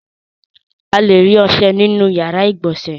A le rí ọṣẹ nínú ìyàrá-ìgbọ̀nsẹ̀.